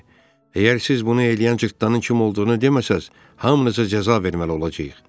Əgər siz bunu eləyən cırtdanın kim olduğunu deməsəz, hamınıza cəza verməli olacağıq.